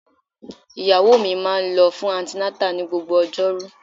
Ìyàwó mi máa ń lọ fún antenatal ní gbogbo ojoru.